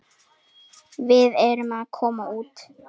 Við erum að koma út.